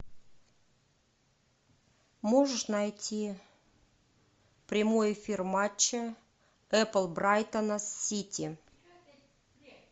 можешь найти прямой эфир матча эпл брайтона с сити